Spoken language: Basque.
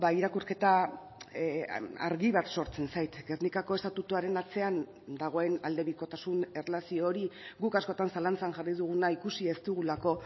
irakurketa argi bat sortzen zait gernikako estatutuaren atzean dagoen aldebikotasun erlazio hori guk askotan zalantzan jarri duguna ikusi ez dugulako